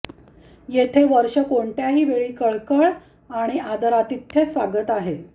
येथे वर्ष कोणत्याही वेळी कळकळ आणि आदरातिथ्य स्वागत आहेत